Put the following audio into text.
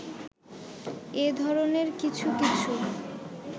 এ ধরণের কিছু কিছু